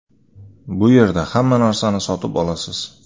Bu yerda hamma narsani sotib olasiz.